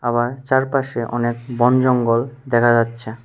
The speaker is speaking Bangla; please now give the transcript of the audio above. আবার চারপাশে অনেক বন জঙ্গল দেখা যাচ্ছে।